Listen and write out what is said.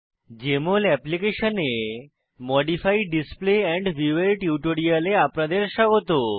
JML অ্যাপ্লিকেশনে modify display and view এর টিউটোরিয়ালে আপনাদের স্বাগত